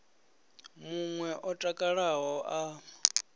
mun we o takalaho a